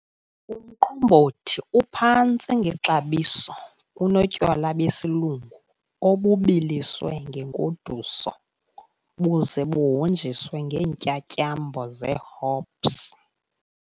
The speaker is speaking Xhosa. Umqombothi iphantsi ngexabiso kunotywala besilungu, obubiliswe ngenkoduso buze buhonjiswe ngeentyatyambo zee-hops.